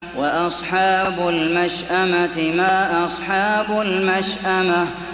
وَأَصْحَابُ الْمَشْأَمَةِ مَا أَصْحَابُ الْمَشْأَمَةِ